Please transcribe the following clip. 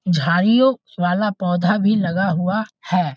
झाड़ियों वाला पौधा भी लगा हुआ है।